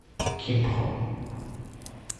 кимпхо